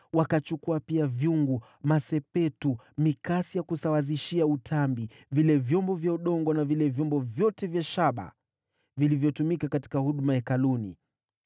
Wakachukua pia vyungu, masepetu, mikasi ya kusawazishia tambi, sahani na vyombo vyote vya shaba vilivyotumika katika huduma ya Hekalu.